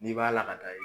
N'i b'a la ka taa